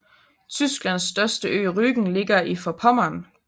Tysklands største ø Rügen ligger i Forpommern